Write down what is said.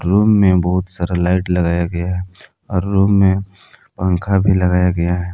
Room में बहुत सारा लाइट लगाया गया है और रूम में पंखा भी लगाया गया है।